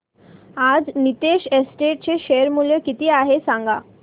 आज नीतेश एस्टेट्स चे शेअर मूल्य किती आहे सांगा